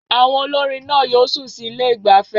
Àwọn olórin náà yóò sun sí ilé ìgbafẹ́